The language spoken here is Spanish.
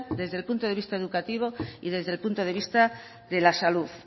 desde el punto de vista educativo y desde el punto de vista de la salud